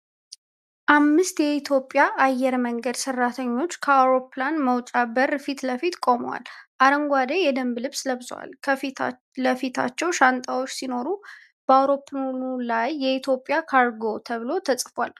አምስት የኢትዮጵያ አየር መንገድ ሠራተኞች ከአውሮፕላን መውጫ በር ፊት ለፊት ቆመዋል። አረንጓዴ የደንብ ልብስ ለብሰዋል፤ ከፊት ለፊታቸው ሻንጣዎች ሲኖሩ፣ በአውሮፕላኑ ላይ "ኢትዮጲአን ካርጎ" ተብሎ ተጽፏል።